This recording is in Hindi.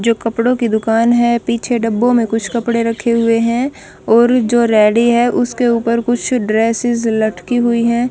जो कपड़ों की दुकान है पीछे डब्बों में कुछ कपड़े रखे हुए हैं और जो रेडी है उसके ऊपर कुछ ड्रेसेस लटकी हुई हैं।